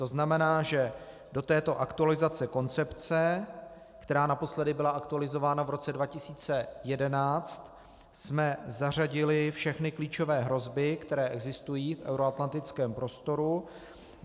To znamená, že do této aktualizace koncepce, která naposledy byla aktualizována v roce 2011, jsme zařadili všechny klíčové hrozby, které existují v euroatlantickém prostoru.